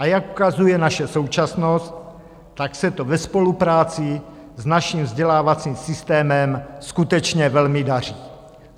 A jak ukazuje naše současnost, tak se to ve spolupráci s naším vzdělávacím systémem skutečně velmi daří.